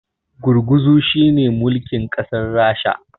gurguzu shi ne mulkin kasar rasha